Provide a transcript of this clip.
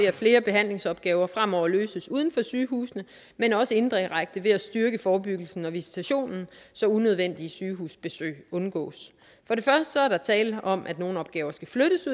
at flere behandlingsopgaver fremover løses uden for sygehusene men også indirekte ved at styrke forebyggelsen og visitationen så unødvendige sygehusbesøg undgås for det første er der tale om at nogle opgaver skal flyttes